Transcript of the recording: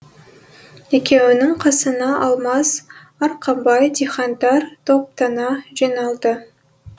екеуінің қасына алмас арқабай дихандар топтана жиналды